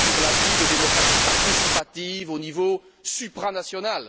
Lamassoure l'a dit de démocratie participative au niveau supranational.